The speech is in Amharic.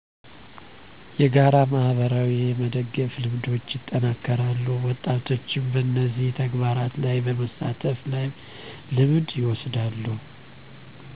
የጋራ ማህበራዊ የመደጋገፍ ልምዶች ይጠናከራሉ ወጣቶችም በነዚህ ተግባራት ላይ በመሳተፍ ልምድ ይወስዳሉ